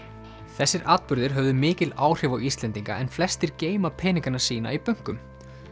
þessir atburðir höfðu mikil áhrif á Íslendinga en flestir geyma peningana sína í bönkum